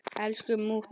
Elsku mútta.